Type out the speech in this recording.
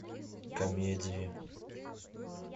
комедии